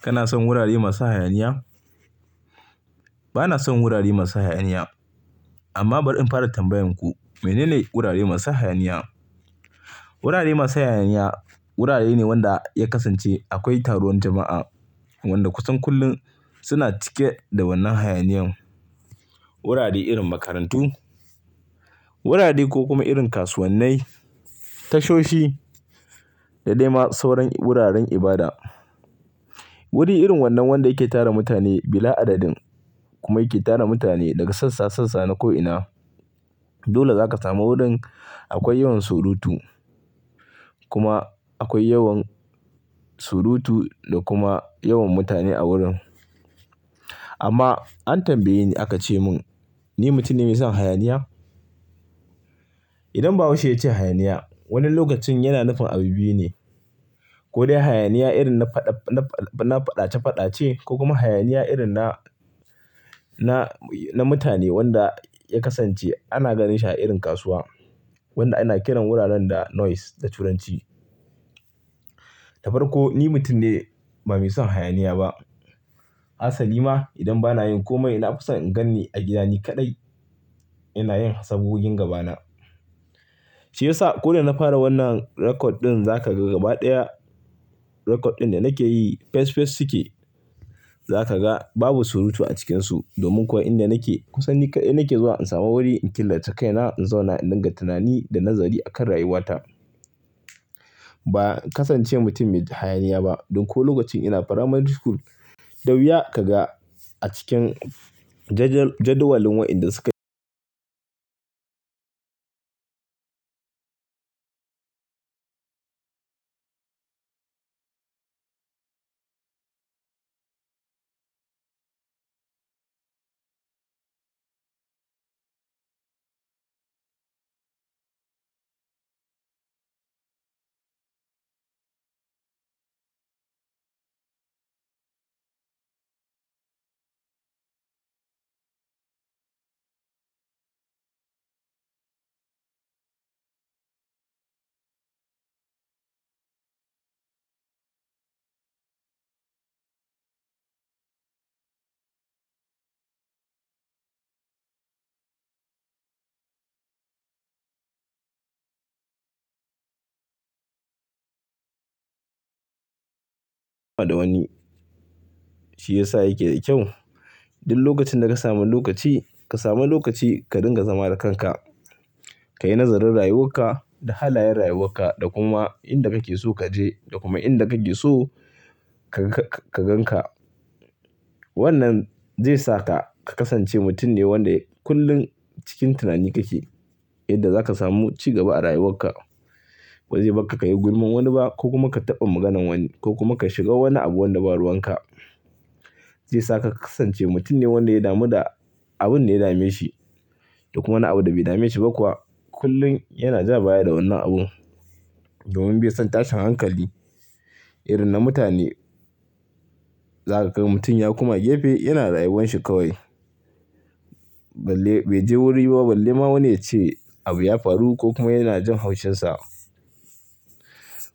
Kana son wurare masu hayaniya? Bana son wurare masu hayaniya. Amma bar in fara tambayarku. Mene ne wurare masu hayaniya? Wurare masu hayaniya wurare ne wanda ya kasance akwai taruwan jama'a wanda kusan kullum suna cike da wannan hayaniyan. Wurare irin makarantu, wurare ko kuma irin kasuwannai, tashoshi da dai ma sauran wuraren ibada. Wuri irin wannan wanda yake tara mutane bila adadin kuma yake tara mutane daga sassa sassa na ko'ina. Dole zaka samu wurin akwai yawan surutu kuma akwai yawan surutu da kuma yawan mutane a wurin. Amma an tambaye ni aka ce mun ni mutum ne mai son hayaniya? Idan bahaushe ya ce hayaniya, wani lokacin yana nufin abu biyu ne. Ko dai hayaniya irin na faɗace faɗace ko kuma hayaniya irin na, na mutane wanda ya kasance ana ganin shi a irin kasuwa wanda ana kiran wuraren da noise da turanci. Dabar ko ni mutum ne ba mai son hayaniya ba. Asali ma idan bana yin komai na fison in ganni a gida ni kaɗai ina yin sabgogin gabana. Shi yasa ko da na fara wannan record ɗin za ka ga gaba ɗaya record ɗin da nake yi fes fes suke. Za ka ga babu surutu a cikinsu domin kuwa inda nake kusan nikaɗai nake zuwa in samu wuri in killace kaina in zauna ina dinga tunani da nazari akan rayuwata. Ba kasance mutum mai hayaniya ba. Ɗin ko lokacin ina primary school, da wuya ka ga a cikin jadawalin waɗanda suka da wani. Shi yasa yake da kyau. Du lokacin da ka samu lokaci ka sami lokaci ka dinga zama da kanka, ka yi nazarin rayuwan ka da halayen rayuwan ka da kuma inda kake so kaje da kuma inda kake so ka gan ka. Wannan zai saka ka kasance mutum ne wanda kullum cikin tunani kake yadda za ka samu cigaba a rayuwan ka. Ba zai baka ka yi gulman wani ba ko kuma ka taɓa maganan wani ko kuma ka shiga wani abu wanda ba ruwan ka. Zai saka ka kasance mutum ne wanda ya damu da abun da ya dame shi da kuma wani abu da bai dame shi ba kuwa kullum yana ja baya da wannan abu. Domin bai son tashin hankali irin na mutane. Za ka ga mutum ya kuma gefe yana rayuwan shi kawai. Balle bai je wurin ba balle ma wani ya ce abu ya faru ko kuma yana jin haushinsa.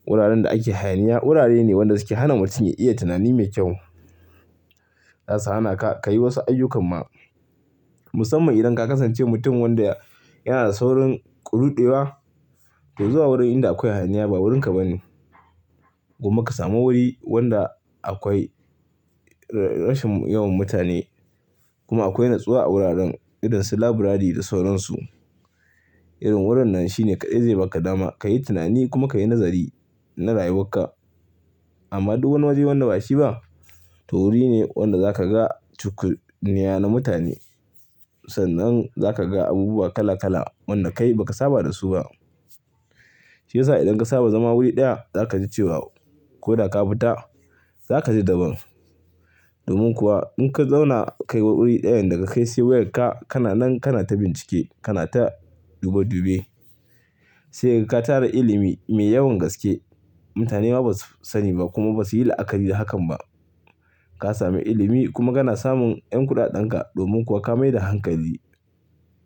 Wuraren da ake hayaniya wurare ne waɗanda suke hana mutum ya iya tunani mai kyau. Zasu hana ka ka yi wasu ayyukan ma. Musamman idan ka kasance mutum wanda yana da saurin ƙuruɗewa. To zuwa wurin inda akwai hayaniya ba wurinka ba ne. Kuma ka samu wuri wanda akwai rashin yawan mutane kuma akwai natsuwa a wuraren irin su library da sauran su. Irin wurin nan shine ka dai zai baka dama ka yi tunani kuma ka yi nazari na rayuwan ka. Amma ɗu wani waje wanda bashi ba to wuri ne wanda za ka ga cukunniya na mutane. Sannan za ka ga abubuwa kala kala waɗanda kai ba ka saba da su ba. Shi yasa idan ka saba zama wuri ɗaya za ka ji cewa ko da ka fita za ka ji daban. Domin kuwa in ka zauna kai wa wuri ɗayan daga kai sai wayarka kana nan kana ta bincike kana ta dube dube. Saika ga katara ilimi mai yawan gaske. Mutane ma basu sani ba kuma basu yi la'akari da hakan ba. Ka sami ilimi kuma kana samun 'yan kuɗaɗen ka domin kuwa ka mai da hankali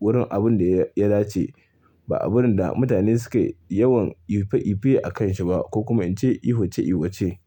wurin abun da ya dace ba abun da mutane suke yawan ife ife a kan shi ba ko kuma ince ihuce ihuce.